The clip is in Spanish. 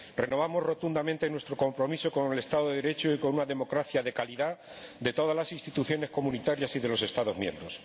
Renovamos rotundamente nuestro compromiso con el Estado de Derecho y con una democracia de calidad en todas las instituciones comunitarias y en los Estados miembros.